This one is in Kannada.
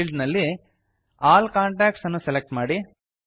ಫೀಲ್ಡ್ ನಲ್ಲಿ ಆಲ್ ಕಾಂಟಾಕ್ಟ್ಸ್ ಅನ್ನು ಸೆಲೆಕ್ಟ್ ಮಾಡಿ